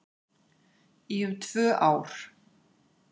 Í um tvö ár